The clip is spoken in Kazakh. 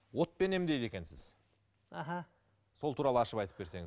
отпен емдейді екенсіз аха сол туралы ашып айтып берсеңіз